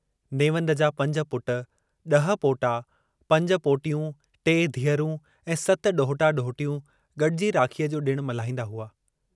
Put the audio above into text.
नेवंद जा पंज पुट, इह पोटा, पंज पोटियूं टे धीअरूं ऐं सत डोहटा-डोहटियूं गड्जी राखीअ जो डिणु मल्हाईंदा हुआ।